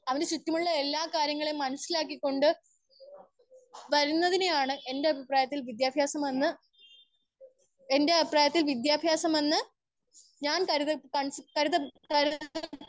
Speaker 1 അവൻ ചുറ്റുമുള്ള എല്ലാ കാര്യങ്ങളും മനസ്സിലാക്കി കൊണ്ട് വരുന്നതിനെയാണ് എന്റെ അഭിപ്രയത്തിൽ വിദ്യാഭ്യാസം എന്ന് എന്റെ അഭിപ്രായത്തിൽ വിദ്യാഭ്യാസം എന്ന് ഞാൻ കരുതി കരുത.